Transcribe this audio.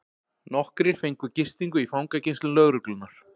Nokkrir fengu gistingu í fangageymslum lögreglunnar